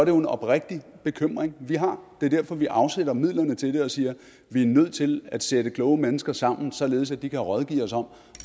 jo en oprigtig bekymring vi har det er derfor vi afsætter midlerne til det og siger at vi er nødt til at sætte kloge mennesker sammen således at de kan rådgive os om